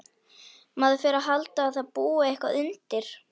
Maður fer að halda að það búi eitthvað undir.